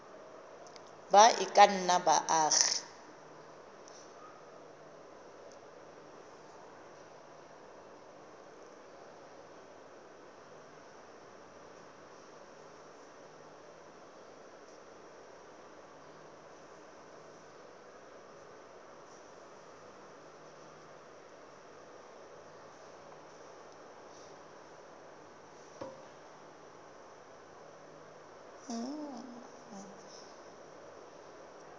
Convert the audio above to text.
ba e ka nnang baagi